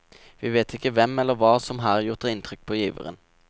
Vi vet ikke hvem eller hva som her gjort inntrykk på giveren.